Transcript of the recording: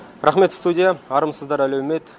рақмет студия армысыздар әлеумет